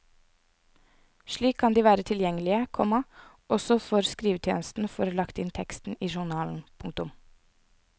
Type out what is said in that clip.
Slik kan de være tilgjengelige, komma også før skrivetjenesten får lagt inn teksten i journalen. punktum